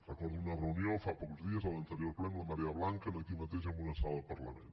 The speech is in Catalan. recordo una reunió fa pocs dies a l’anterior ple amb la marea blanca aquí mateix en una sala del parlament